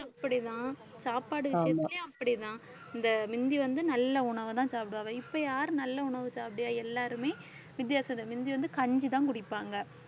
அப்படிதான் சாப்பாடு விஷயத்திலேயும் அப்படிதான் இந்த முந்தி வந்து நல்ல உணவைதான் சாப்பிடுவாங்க இப்ப யாரு நல்ல உணவு சாப்பிடுறா? எல்லாருமே முந்தி வந்து கஞ்சிதான் குடிப்பாங்க